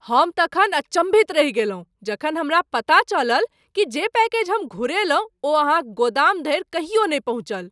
हम तखन अचम्भित रहि गेलहुँ जखन हमरा पता चलल कि जे पैकेज हम घुरयलहुँ ओ अहाँक गोदाम धरि कहियो नहि पहुँचल!